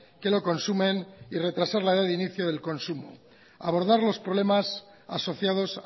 que lo consumen y retrasar la del inicio del consumo abordar los problemas asociados